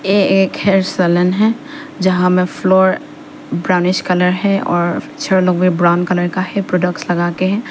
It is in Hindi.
ये एक हेयर सलून है जहां में फ्लोर ब्राउनिश कलर है और छह लोग भी ब्राउन कलर का हैं प्रोडक्ट लगाके हैं।